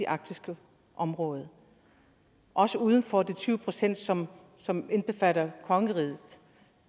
arktiske område også uden for de tyve pct som som indbefatter kongeriget